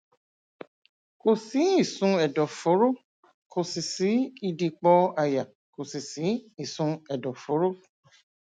kò sí ìsun ẹdọfóró kò sí ìdìpọ àyà kò sì sí ìsun ẹdọfóró